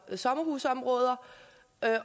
sommerhusområder